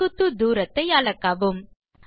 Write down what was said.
செங்குத்து தூரத்தை அளக்கவும்